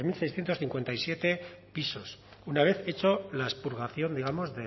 seiscientos cincuenta y siete pisos una vez hecho la expurgación digamos